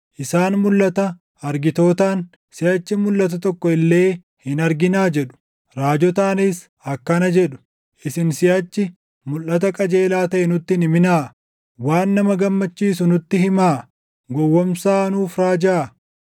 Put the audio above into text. Isaan mulʼata argitootaan, “Siʼachi mulʼata tokko illee hin arginaa!” jedhu; raajotaanis akkana jedhu; “Isin siʼachi mulʼata qajeelaa taʼe nutti hin himinaa! Waan nama gammachiisu nutti himaa; gowwoomsaa nuuf raajaa.